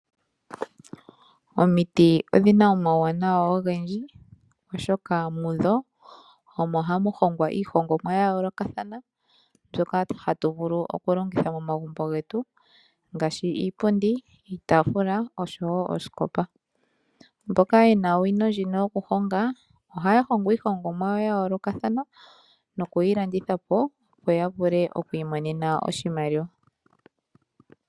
Omiti odhi na omauwanawa ogendji, oshoka mu dho omo hamu hongwa iihongomwa ya yoolokathana mbyoka hatu vulu okulongitha momagumbo getu ngaashi iipundi, iitaafula oshowo oosikopa. Mboka ye na owino ndjika yokuhonga, ohaya hongo iihongomwa yawo ya yoolokathana nokuyi landitha po, opo ya vule okuimonena oshimaliwa.